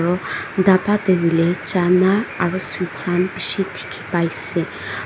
aro dapa taehuilae chana aro sweets Han bishi dikhipaiase.